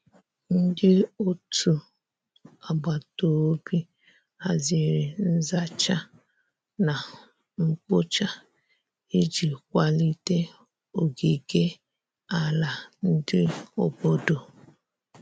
Ndi ọtụ agbatobi hazịrị nza cha na nkpo cha iji kwalite ogige ala ndi obodo